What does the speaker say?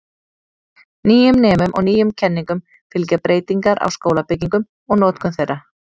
Nýjum nemum og nýjum kenningum fylgja breytingar á skólabyggingum og notkun þeirra.